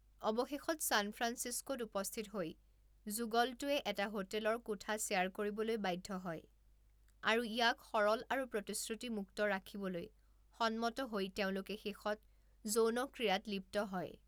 অৱশেষত ছান ফ্ৰাঞ্চিস্কোত উপস্থিত হৈ যুগলটোৱে এটা হোটেলৰ কোঠা শ্বেয়াৰ কৰিবলৈ বাধ্য হয় আৰু ইয়াক সৰল আৰু প্ৰতিশ্ৰুতিমুক্ত ৰাখিবলৈ সন্মত হৈ তেওঁলোকে শেষত যৌনক্ৰিয়াত লিপ্ত হয়।